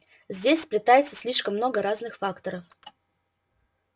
здесь сплетается слишком много разных факторов